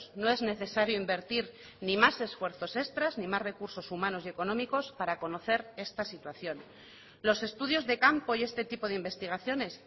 no es necesario invertir ni más esfuerzos extras ni más recursos humanos y económicos para conocer esta situación los estudios de campo y este tipo de investigaciones